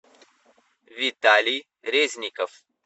виталий резников